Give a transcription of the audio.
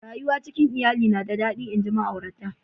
Rayuwa cikin lyalli na da dadi nji ma'aurata.